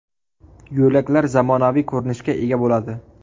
Yo‘laklar zamonaviy ko‘rinishga ega bo‘ladi.